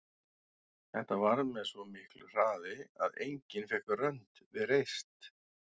Þetta varð með svo miklu hraði að enginn fékk rönd við reist.